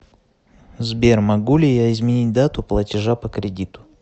сбер могу ли я изменить дату платежа по кредиту